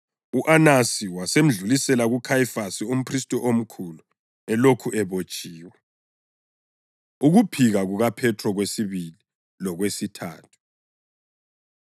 U-Anasi wasemedlulisela kuKhayifasi umphristi omkhulu elokhu ebotshiwe. Ukuphika KukaPhethro Kwesibili Lokwesithathu